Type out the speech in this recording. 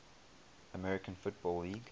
american football league